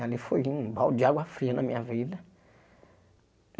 Ali foi um balde de água fria na minha vida.